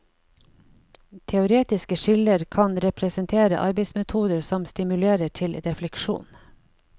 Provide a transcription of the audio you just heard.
Teoretiske skiller kan representere arbeidsmetoder som stimulerer til refleksjon.